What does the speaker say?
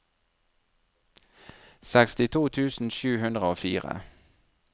sekstito tusen sju hundre og fire